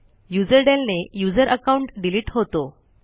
userdel ने user account delete होतो